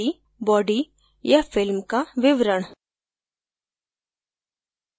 body या film का विवरण